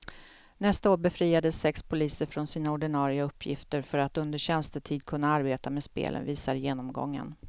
Nästa år befriades sex poliser från sina ordinarie uppgifter för att under tjänstetid kunna arbeta med spelen, visar genomgången.